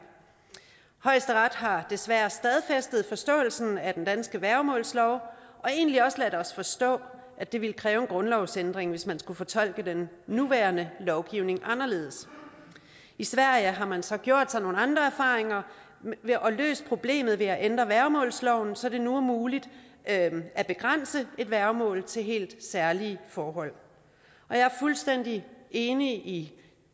højesteret har desværre stadfæstet forståelsen af den danske værgemålslov og egentlig også ladet os forstå at det ville kræve en grundlovsændring hvis man skulle fortolke den nuværende lovgivning anderledes i sverige har man så gjort sig nogle andre erfaringer og løst problemet ved at ændre værgemålsloven så det nu er muligt at at begrænse et værgemål til helt særlige forhold jeg er fuldstændig enig